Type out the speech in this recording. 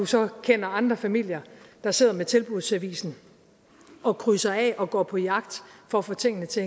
så kender andre familier der sidder med tilbudsavisen og krydser af og går på jagt for at få tingene til